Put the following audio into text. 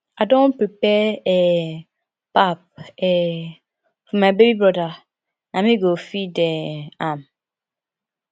i don prepare um pap um for my baby broda na me go feed um am